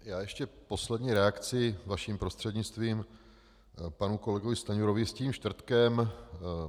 Já ještě poslední reakci vaším prostřednictvím panu kolegovi Stanjurovi, s tím čtvrtkem.